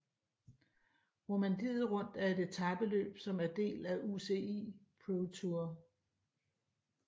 Romandiet Rundt er et etapeløb som er del af UCI ProTour